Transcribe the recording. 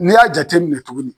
N'i y'a jate minɛ tuguni